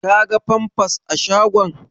Ka ga famfas a shagon?